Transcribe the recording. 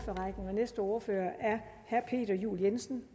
næste ordfører er herre peter juel jensen